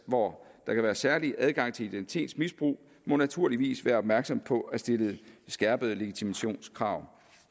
hvor der kan være særlig adgang til identitetsmisbrug må naturligvis være opmærksomme på at stille skærpede legitimationskrav